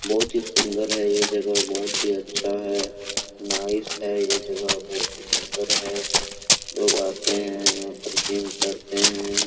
बहुत ही सुन्दर है ये जगह बहुत ही अच्छा है नाइस है ये जगह बहुत ही सुन्दर है लोग आते है यहां पर जीम करते है।